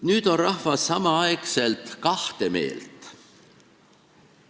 Nüüd on rahvas samal ajal kahte meelt.